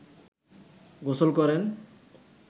গোসল করেন